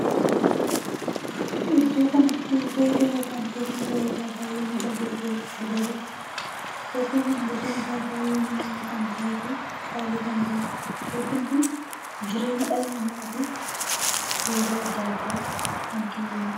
Iddoon kanatti reedoo ykn teebbii bareedaa baay'ee miidhagaa tahee argaa jirra. teeppii kun gatiin Isaa baay'ee minya'a kan tahee fi qaalii kan taheedha. teeppiin kun jireenya dhala namatiif faayidaa addaa addaa kan kennanidha.